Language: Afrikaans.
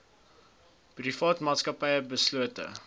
private maatskappye beslote